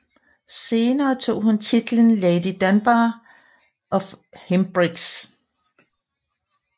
Senere tog hun titlen Lady Dunbar of Hempriggs